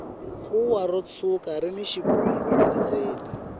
kuwa ro tshwuka rini xivungu endzeni